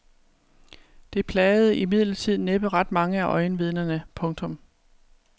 Det plagede imidlertid næppe ret mange af øjenvidnerne. punktum